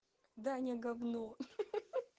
даня гавно ха-ха